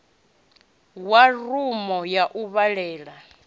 wa rumu ya u vhalela